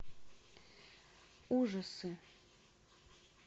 ужасы